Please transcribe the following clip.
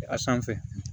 A sanfɛ